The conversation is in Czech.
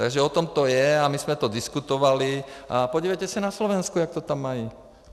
Takže o tom to je a my jsme to diskutovali a podívejte se na Slovensko, jak to tam mají.